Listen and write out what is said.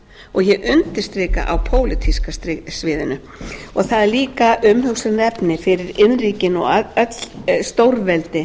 og ég undirstrika á pólitíska sviðinu það er líka umhugsunarefni fyrir iðnríkin og öll stórveldi